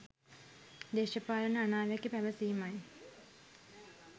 දේශපාලන අනාවැකි පැවසීමයි.